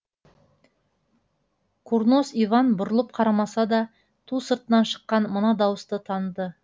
курнос иван бұрылып қарамаса да ту сыртынан шыққан мына дауысты таныды